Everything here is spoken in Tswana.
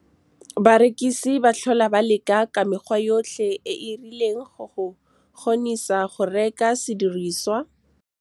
Barekisi ba tlhola ba leka ka mekgwa yotlhe e e rileng go go kgonisa go reka sediriswa. Barekisi ba tlhola ba leka ka mekgwa yotlhe e e rileng go go kgonisa go reka sediriswa.